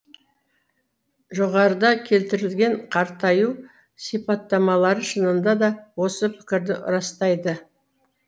жоғарыда келтірілген қартаю сипаттамалары шынында да осы пікірді растайды